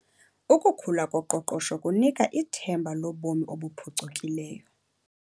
Ukukhula koqoqosho kunika ithemba lobomi obuphucukileyo.